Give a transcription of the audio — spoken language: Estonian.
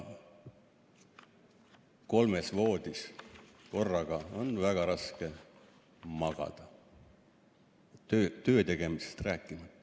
Kolmes voodis korraga on väga raske magada, töötegemisest rääkimata.